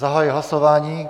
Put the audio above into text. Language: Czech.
Zahajuji hlasování.